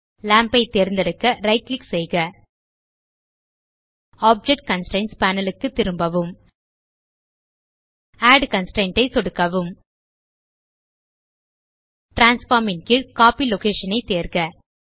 lamp ஐ தேர்ந்தெடுக்க right click செய்க ஆப்ஜெக்ட் கன்ஸ்ட்ரெயின்ட்ஸ் பேனல் க்கு திரும்பவும் ஆட் கன்ஸ்ட்ரெயின்ட் ஐ சொடுக்கவும் டிரான்ஸ்ஃபார்ம் ன் கீழ் கோப்பி லொகேஷன் ஐ தேர்க